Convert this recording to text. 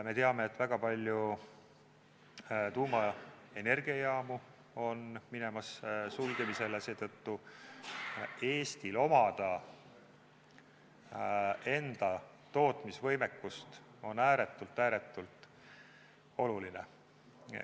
Me teame, et väga palju tuumaenergiajaamu on minemas sulgemisele, seetõttu on Eestil enda tootmisvõimekust omada ääretult-ääretult oluline.